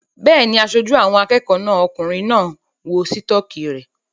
Bẹ́ẹ̀ni, aṣojú àwọn akẹ́kọ̀ọ́ náà okùnrin náà ń wọ sítọ́kì rẹ̀